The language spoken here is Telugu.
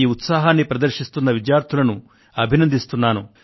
ఈ ఉత్సాహాన్ని ప్రదర్శిస్తున్న విద్యార్థులను అభినందిస్తున్నాను